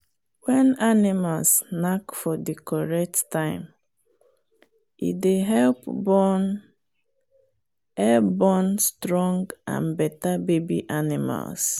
when animals knack for the correct time e dey help born help born stronge and better baby animals.